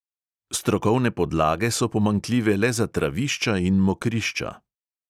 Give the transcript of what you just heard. Strokovne podlage so pomanjkljive le za travišča in mokrišča.